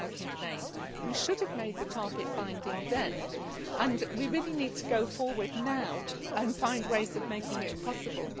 2008. We should have made the target binding then, and we really need to go forward now and find ways of making it possible.